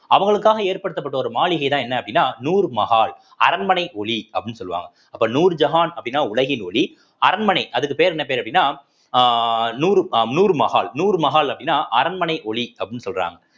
அவங்களுக்காக ஏற்படுத்தப்பட்ட ஒரு மாளிகைதான் என்ன அப்படின்னா நூர் மஹால் அரண்மனை ஒளி அப்படின்னு சொல்லுவாங்க அப்ப நூர்ஜஹான் அப்படின்னா உலகின் ஒளி அரண்மனை அதுக்கு பேர் என்ன பேரு அப்படின்னா அஹ் நூரு அ நூரு மஹால் நூறு மஹால் அப்படின்னா அரண்மனை ஒளி அப்படின்னு சொல்றாங்க